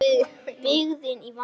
Byggðin í vanda.